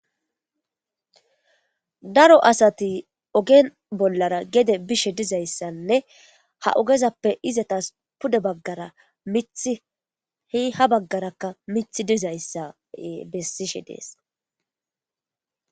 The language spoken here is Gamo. Daro asati ogen bollara gede bishe dizayssanne ha ogezappe izatas pude baggara mithi hi ha baggarakka mithi dizayssa bessishe dees.